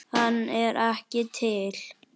Hann er ekki til!